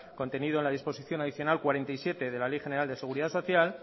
contenido en la disposición adicional cuarenta y siete de la ley general de seguridad social